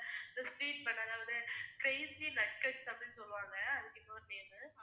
The sweet banana crazy nuggets அப்படின்னு சொல்லுவாங்க அதுக்கு இன்னொரு பேரு